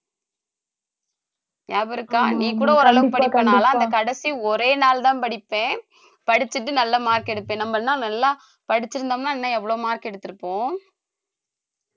ஞாபகம் இருக்கா நீ கூட ஒரு அளவுக்கு படிப்ப நான்லாம் அந்த கடைசி ஒரே நாள் தான் படிப்பேன் படிச்சுட்டு நல்ல mark எடுப்பேன் நம்ம எல்லாம் நல்லா படிச்சிருந்தோம்ன்னா இன்னும் எவ்வளவு mark எடுத்திருப்போம்